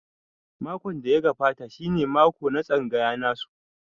Mako da ya gabata shi ne mako na tsangaya nasu.